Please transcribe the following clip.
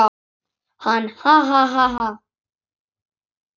Hann: Ha ha ha.